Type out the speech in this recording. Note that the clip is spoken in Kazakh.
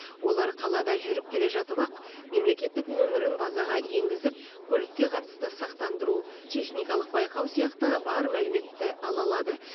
олар қалада жүріп келе жатып ақ мемлекеттік нөмірін базаға енгізіп көлікке қатысты сақтандыру техникалық байқау сияқты бар мәліметті ала алады